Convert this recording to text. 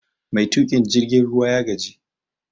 Mai tukin jirgin ruwa ya gaji